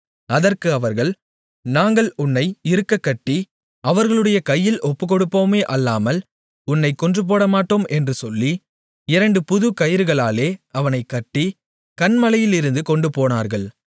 அதற்கு அவர்கள் நாங்கள் உன்னை இறுகக்கட்டி அவர்களுடைய கையில் ஒப்புக்கொடுப்போமே அல்லாமல் உன்னைக் கொன்றுபோடமாட்டோம் என்று சொல்லி இரண்டு புதுக் கயிறுகளாலே அவனைக் கட்டி கன்மலையிலிருந்து கொண்டுபோனார்கள்